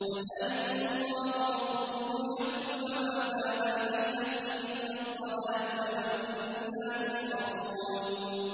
فَذَٰلِكُمُ اللَّهُ رَبُّكُمُ الْحَقُّ ۖ فَمَاذَا بَعْدَ الْحَقِّ إِلَّا الضَّلَالُ ۖ فَأَنَّىٰ تُصْرَفُونَ